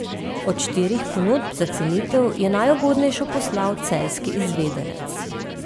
Od štirih ponudb za cenitev je najugodnejšo poslal celjski izvedenec.